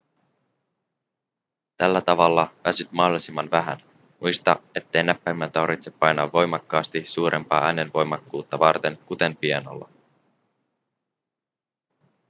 tällä tavalla väsyt mahdollisimman vähän muista ettei näppäimiä tarvitse painaa voimakkaasti suurempaa äänenvoimakkuutta varten kuten pianolla